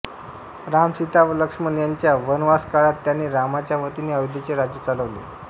राम सीता व लक्ष्मण यांच्या वनवासकाळात त्याने रामाच्या वतीने अयोध्येचे राज्य चालवले